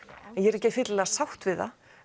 ég er ekki fyllilega sátt við það